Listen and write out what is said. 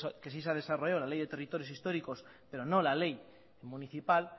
que sí se ha desarrollado la ley de territorios históricos pero no la ley municipal